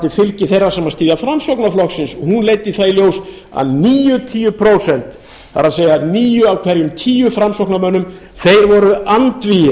fylgi þeirra sem styðja framsóknarflokkinn leiddu það í ljós að níutíu prósent það er níu af hverjum tíu framsóknarmönnum voru andvígir